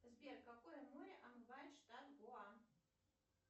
сбер какое море омывает штат гоа